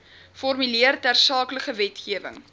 formuleer tersaaklike wetgewing